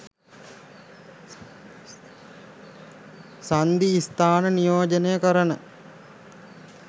සන්ධි ස්ථාන නියෝජනය කරන